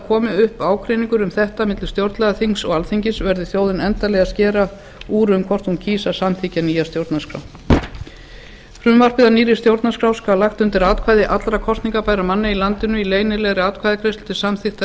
komi upp ágreiningur um þetta milli stjórnlagaþings og alþingis verður þjóðin endanlega að skera úr um hvort hún kýs að samþykkja nýja stjórnarskrá frumvarp að nýrri stjórnarskrá skal lagt undir atkvæði allra kosningarbærra manna í landinu í leynilegri atkvæðagreiðslu til samþykktar